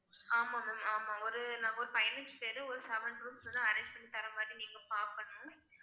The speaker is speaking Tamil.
ஆமா ma'am ஆமா ஒரு நாங்க ஒரு பதினஞ்சு பேரு ஒரு seven rooms வந்து arrange பண்ணி தர்ற மாதிரி நீங்க பார்க்கணும்